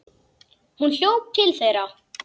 Hún hljóp til þeirra.